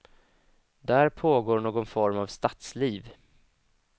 Där pågår någon form av stadsliv.